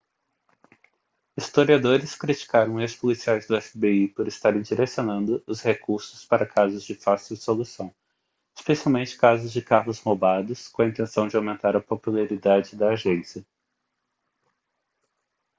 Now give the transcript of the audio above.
historiadores criticaram ex-policiais do fbi por estarem direcionando os recursos para casos de fácil solução especialmente casos de carros roubados com a intenção de aumentar a popularidade da agência